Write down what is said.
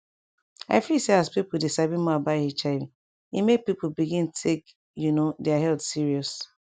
i feel say as people dey sabi more about hiv e make people begin take you know their health serious